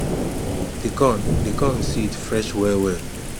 the corn the corn seed fresh well well